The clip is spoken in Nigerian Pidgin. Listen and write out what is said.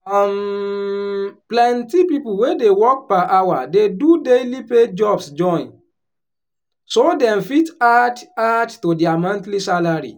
um plenty people wey dey work per hour dey do daily pay jobs join so dem fit add add to their monthly salary.